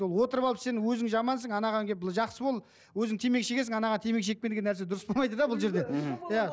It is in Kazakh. ол отырып алып сен өзің жамансың анаған келіп жақсы бол өзің темекі шегесің анаған темекі шекпе деген нәрсе дұрыс болмайды да бұл жерде мхм иә